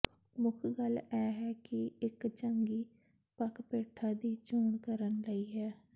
ਮੁੱਖ ਗੱਲ ਇਹ ਹੈ ਕਿ ਇੱਕ ਚੰਗੀ ਪੱਕ ਪੇਠਾ ਦੀ ਚੋਣ ਕਰਨ ਲਈ ਹੈ